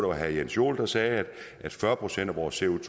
var herre jens joel der sagde at fyrre procent procent